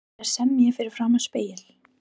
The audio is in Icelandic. Þú ættir að semja fyrir framan spegil.